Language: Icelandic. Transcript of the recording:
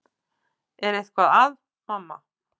Er eitthvað að, mamma?